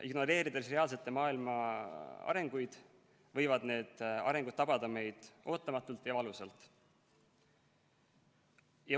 Ignoreerides maailma reaalseid arengusuundi, võivad need meid tabada ootamatult ja valusalt.